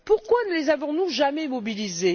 Pourquoi ne les avons nous jamais mobilisés?